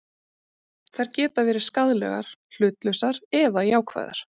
Þær geta verið skaðlegar, hlutlausar eða jákvæðar.